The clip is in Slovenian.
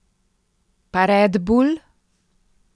Pa red bull?